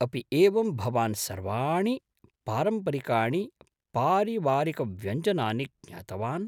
अपि एवं भवान् सर्वाणि पारम्परिकाणि पारिवारिकव्यञ्जनानि ज्ञातवान्?